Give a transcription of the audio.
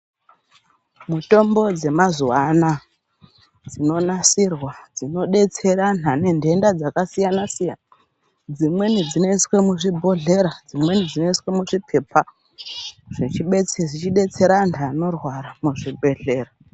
Mutombo dzemazuwa anaya dzinonasirwa dzinodetsera antu ane ntenda dzakasiyana-siyana. Dzimweni dzinoiswe muzvibhodhlera dzimweni dzinoiswe muzvipepa zvechidetsera antu anorwara muzvibhedhlera